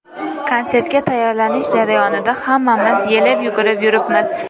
Konsertga tayyorlanish jarayonida hammamiz yelib-yugurib yuribmiz.